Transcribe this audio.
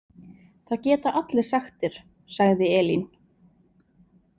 Það geta allir sagt þér, sagði Elín.